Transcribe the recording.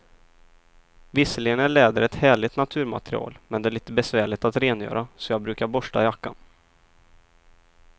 Visserligen är läder ett härligt naturmaterial, men det är lite besvärligt att rengöra, så jag brukar borsta jackan.